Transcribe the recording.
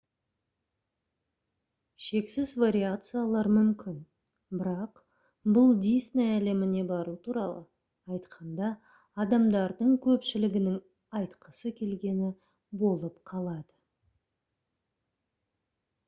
шексіз вариациялар мүмкін бірақ бұл «дисней әлеміне бару» туралы айтқанда адамдардың көпшілігінің айтқысы келгені болып қалады